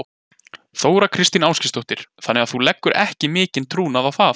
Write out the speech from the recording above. Þóra Kristín Ásgeirsdóttir: Þannig að þú leggur ekki mikinn trúnað á það?